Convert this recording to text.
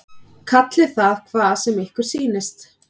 Kallið það hvað sem ykkur sýnist.